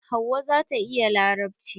Hauwa zata iya larabci.